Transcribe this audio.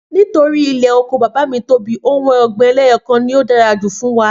Nítorí ilé oko bàbá mi tóbi, ohun ọ̀gbìn eléyọkan ni ó dára jù fún wa